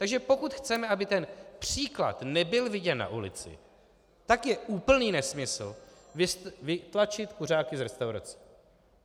Takže pokud chceme, aby ten příklad nebyl viděn na ulici, tak je úplný nesmysl vytlačit kuřáky z restaurací.